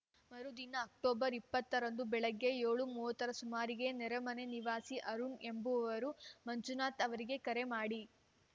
ಮರುದಿನ ಅಕ್ಟೋಬರ್ ಇಪ್ಪತ್ತು ರಂದು ಬೆಳಗ್ಗೆ ಏಳು ಮೂವತ್ತರ ಸುಮಾರಿಗೆ ನೆರೆಮನೆ ನಿವಾಸಿ ಅರುಣ್‌ ಎಂಬುವರು ಮಂಜುನಾಥ್‌ ಅವರಿಗೆ ಕರೆ ಮಾಡಿ